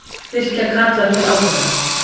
Styrkja Karla til ábyrgðar